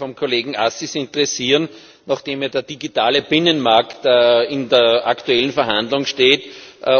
Mich würde vom Kollegen Assis interessieren nachdem der digitale Binnenmarkt in der aktuellen Verhandlung steht